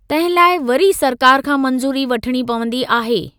तंहिं लाइ वरी सरकार खां मंजू़री वठणी पवंदी आहे।